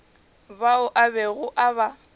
bao a bego a ba